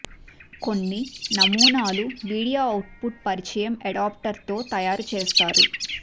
కొన్ని నమూనాలు video output పరిచయం అడాప్టర్ తో తయారు చేస్తారు